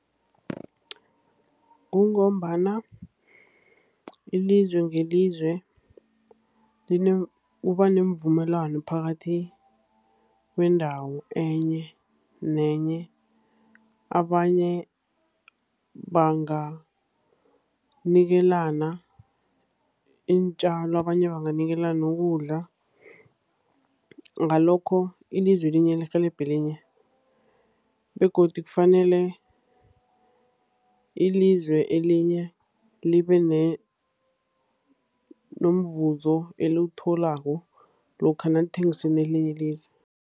Kungombana ilizwe ngelizwe kuba neemvumelwano phakathi kwendawo enye nenye. Abanye banganikelana iintjalo, abanye banganikelana ukudla. Ngalokho, ilizwe elinye lirhelebha elinye. Begodu kufanele ilizwe elinye libe nomvuzo eliwutholako lokha nalithengisela elinye ilizwe.